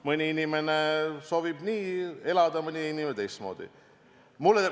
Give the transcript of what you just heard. Mõni inimene soovib elada ühtmoodi, mõni jälle teistmoodi.